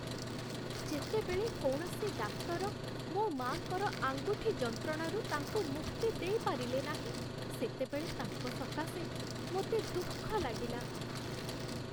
ଯେତେବେଳେ କୌଣସି ଡାକ୍ତର ମୋ ମା'ଙ୍କର ଆଙ୍ଗୁଠି ଯନ୍ତ୍ରଣାରୁ ତାଙ୍କୁ ମୁକ୍ତି ଦେଇପାରିଲେ ନାହିଁ, ସେତେବେଳେ ତାଙ୍କ ସକାଶେ ମୋତେ ଦୁଃଖ ଲାଗିଲା।